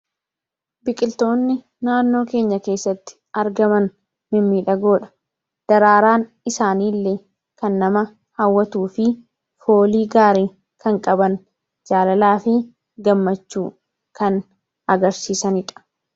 Biqiltoonni naannoo keenya keessatti argaman mimiidhagoodha. Daraaraan isaaniillee kan nama hawwatuu fi foolii gaarii kan qaban jaalalaa fi gammachuu kan agarsiisaniidha.